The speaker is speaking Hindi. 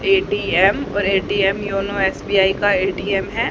ए_टी_एम और ए_टी_एम योनो एस_बी_आई का ए_टी_एम है।